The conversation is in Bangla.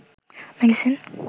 মেডিসিন